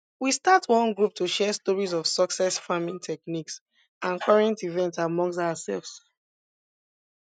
we start one group to share stories of success farming techniques and current events amongst ourselves